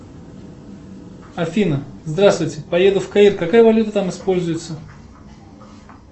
афина здравствуйте поеду в каир какая валюта там используется